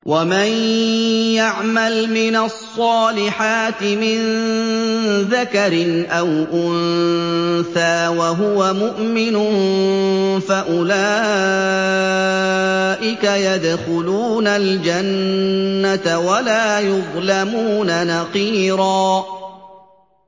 وَمَن يَعْمَلْ مِنَ الصَّالِحَاتِ مِن ذَكَرٍ أَوْ أُنثَىٰ وَهُوَ مُؤْمِنٌ فَأُولَٰئِكَ يَدْخُلُونَ الْجَنَّةَ وَلَا يُظْلَمُونَ نَقِيرًا